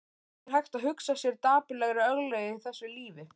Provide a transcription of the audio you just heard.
Er hægt að hugsa sér dapurlegri örlög í þessu lífi?